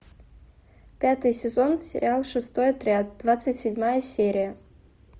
пятый сезон сериал шестой отряд двадцать седьмая серия